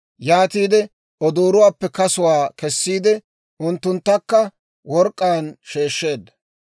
Yaatiide odoorotuwaappe kasuwaa kessiide unttunttakka work'k'aan sheeshsheedda.